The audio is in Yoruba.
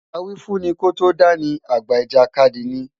Awífúnni kó tó dá ni, àgbà ìjàkadì ni.